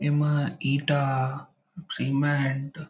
एमा ईंटा सीमेंट --